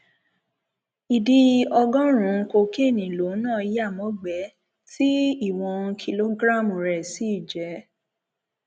ìdí ọgọrùnún kokéènì lòun náà yá mọgbẹẹ tí ìwọn kìlógíráàmù rẹ sì jẹ